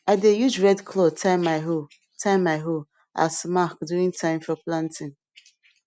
i dey use red cloth tie my hoe tie my hoe as mark during time for planting